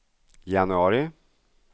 januari